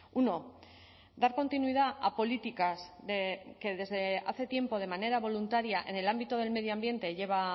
uno dar continuidad a políticas que desde hace tiempo de manera voluntaria en el ámbito del medio ambiente lleva